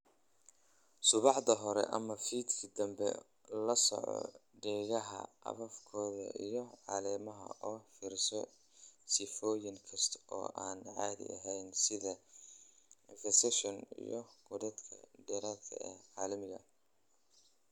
"Subaxda hore ama fiidkii dambe, la soco geedaha afkoda iyo caleemaha oo fiirso sifooyin kasta oo aan caadi ahayn sida infestations iyo godadka dhaadheer ee caleemaha."